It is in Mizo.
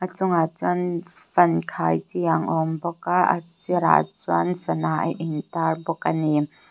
chungah chuan fan khai chi ang a awm bawk a a sirah chuan sana a in tar bawk ani.